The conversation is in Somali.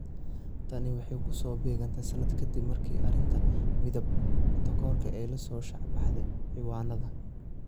Tani waxay ku soo beegantay sanad ka dib markii arrinta midab-takoorka ay la soo shaac baxday ciwaannada.